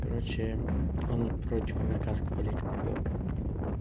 короче он против американскую политику вёл